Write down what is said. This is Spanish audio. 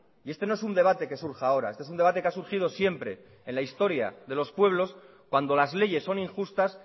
y este no es un debate que surja ahora este es un debate que ha surgido siempre en la historia de los pueblos cuando las leyes son injustas